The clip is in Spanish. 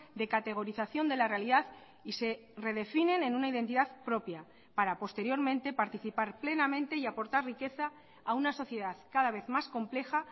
de categorización de la realidad y se redefinen en una identidad propia para posteriormente participar plenamente y aportar riqueza a una sociedad cada vez más compleja